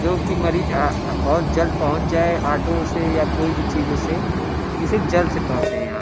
जो की मरीज आ बोहोत जल्द पहुंचे जाए ऑटो से या कोई भी चीजों से। इसे जल्द से पहुंचे यहाँ --